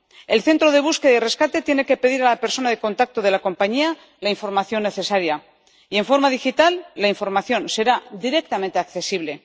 El centro de búsqueda y de rescate tiene que pedir a la persona de contacto de la compañía la información necesaria, y, en forma digital, la información será directamente accesible.